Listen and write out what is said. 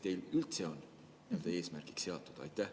Kas see on teil üldse eesmärgiks seatud?